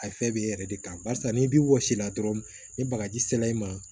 A fɛ b'e yɛrɛ de kan barisa n'i b'i wɔsi la dɔrɔn ni bagaji sera i ma